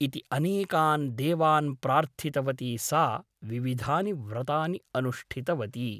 इति अनेकान् देवान् प्रार्थितवती सा विविधानि व्रतानि अनुष्ठितवती ।